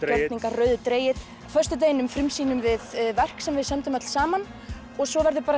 rauður dregill á föstudeginum við verk sem við sömdum öll saman og svo verður